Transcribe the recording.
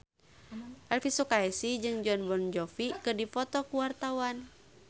Elvy Sukaesih jeung Jon Bon Jovi keur dipoto ku wartawan